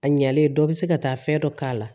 A ɲɛlen dɔ bɛ se ka taa fɛn dɔ k'a la